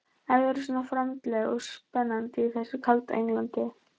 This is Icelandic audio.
Eruð þið svona framandleg og spennandi í þessu kalda Englandi?